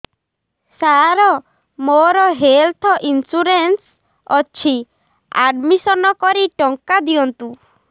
ସାର ମୋର health insurance ଅଛି admission କରି ଟଙ୍କା ଦିଅନ୍ତୁ